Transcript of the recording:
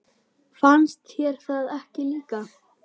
Fannst þér það ekki líka?